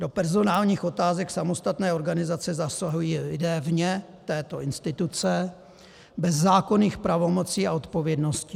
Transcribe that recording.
Do personálních otázek samostatné organizace zasahují lidé vně této instituce bez zákonných pravomocí a odpovědností.